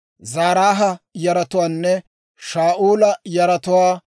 Zaraaha yaratuwaanne Shaa'ula yaratuwaa.